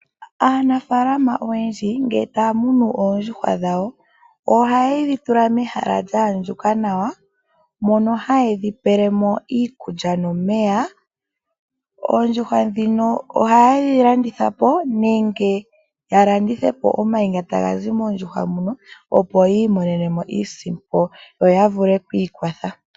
Aanafaalama oyendji ngele taya munu oondjuhwa dhawo ohaye dhi tula mehala lya andjuka nawa mono haye dhi pele mo iikulya nomeya. Oondjuhwa ndhino ohaye dhi landitha po nenge ya landithe po omayi nga taga zi moondjuhwa muno opo yi imonene mo iisimpo yo ya vule okwi ikwatha.